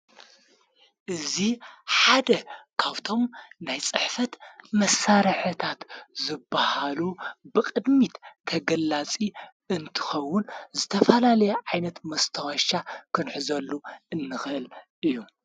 እዙ ሓደ ካብቶም ናይ ጽሕፈት መሳረሐታት ዘበሃሉ ብቕድሚት ከገላፂ እንትኸውን ዝተፋላለየ ዓይነት መስተዋሻ ኽንሕ ዘሉ እንኽል እዩ።